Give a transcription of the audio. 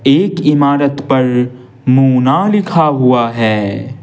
एक इमारत पर मूना लिखा हुआ है।